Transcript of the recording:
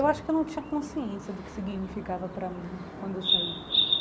Eu acho que eu não tinha consciência do que significava para mim quando eu saí.